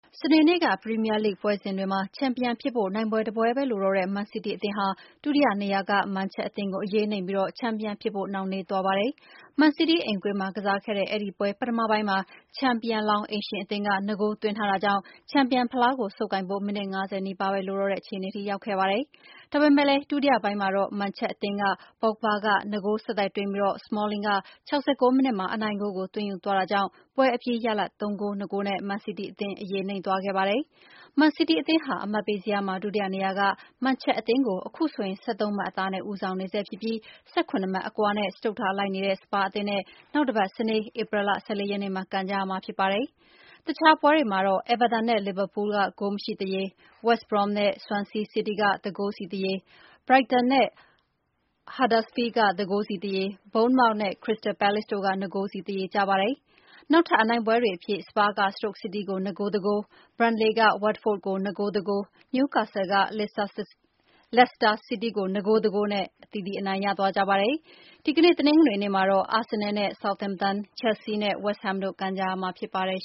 စနေနေ့ ပရီးမီးယားလိဂ် ပွဲစဉ်တွေမှာ ချန်ပီယံဖြစ်ဖို့ နိုင်ပွဲတပွဲပဲလိုတော့တဲ့ မန်စီးတီးအသင်းဟာ ဒုတိယနေရာက မန်ချက် အသင်းကို အရေးနိမ့်ပြီး ချန်ပီယံဖြစ်ဖို့ နှောင့်နှေးသွားပါတယ်။ မန်စီးတီးအိမ်ကွင်းမှာကစားခဲ့တဲ့ အဲဒီပွဲ ပထမပိုင်းမှာ ချန်ပီယံလောင်း အိမ်ရှင်အသင်းက ၂ ဂိုး သွင်းထားတာကြောင့် ချန်ပီယံ ဖလားကို ဆုပ်ကိုင်ဖို့ မိနစ် ၅၀ နီးပါးပဲ လိုတော့တဲ့အခြေအနေထိ ရောက်ခဲ့ပါတယ်။ ဒါပေမဲ့လည်း ဒုတိယပိုင်းမှာတော့ မန်ချက်အသင်းက ပေါ့ဂ်ဘာ က ၂ ဂိုး ဆက်တိုက်သွင်းပြီး စမောလင်းက ၆၉ မိနစ်မှာ အနိုင်ဂိုးကို သွင်းယူသွားတာကြောင့် ပွဲအပြီးရလဒ် ၃ ဂိုး ၂ ဂိုးနဲ့ မန်စီးတီးအသင်း အရေးနိမ့်သွားခဲ့ပါတယ်။ မန်စီးတီးအသင်းဟာ အမှတ်ပေးဇယားမှာ ဒုတိယနေရာက မန်ချက်အသင်းကို အခုဆိုရင် ၁၃ မှတ်အသာနဲ့ ဦးဆောင်နေဆဲ ဖြစ်ပြီး ၁၇ မှတ်အကွာနဲ့ စတုတ္ထလိုက်နေတဲ့ စပါးအသင်းနဲ့ နောက်တပတ်စနေ ဧပြီလ ၁၄ ရက်နေ့မှာ ကန်ရမှာဖြစ်ပါတယ်။ တခြားပွဲတွေမှာတော့ အဲဗာတန် နဲ့ လီဗာပူး ဂိုးမရှိသရေ၊ ဝက်စ်ဘရွမ်း နဲ့ ဆွမ်ဆီးစီးတီး ၁ ဂိုးစီသရေ၊ ဘရိုက်တန် နဲ့ ဟတ်ဒါစ်ဖီးလ်ဒ် ၁ ဂိုးစီသရေ၊ ဘုန်းမောက် နဲ့ ခရစ္စတယ်ပဲလေ့စ် တို့ ၂ ဂိုးစီသရေကျပါတယ်။ နောက်ထပ် အနိုင်ပွဲတွေအဖြစ် စပါး က စတုတ်စီးတီး ကို ၂ ဂိုး ၁ ဂိုး၊ ဘန်လေက ဝပ်ဖို့ဒ် ကို ၂ ဂိုး ၁ ဂိုး၊ နယူးကာဆယ်လ် က လက်စတာစီးတီး ကို ၂ ဂိုး ၁ ဂိုးနဲ့ အသီးသီး အနိုင်ရသွားကြပါတယ်။ တနင်္ဂနွေနေ့မှာ အာဆင်နယ် နဲ့ ဆောက်သမ်တန် ၊ ချယ်လ်ဆီး နဲ့ ဝက်စ်ဟမ်းတို့ ကန်ကြမှာဖြစ်ပါတယ်